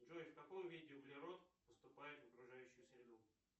джой в каком виде углерод поступает в окружающую среду